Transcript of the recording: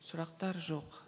сұрақтар жоқ